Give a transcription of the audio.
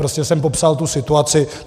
Prostě jsem popsal tu situaci.